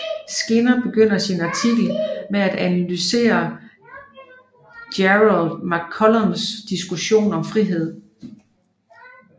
Skinner begynder sin artikel med at analysere Gerald McCallums diskussion om frihed